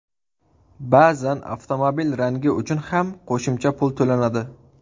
Ba’zan avtomobil rangi uchun ham qo‘shimcha pul to‘lanadi.